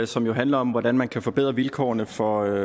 som jo handler om hvordan man kan forbedre vilkårene for